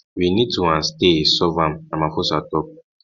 we need toand stay solve am ramaphosa tok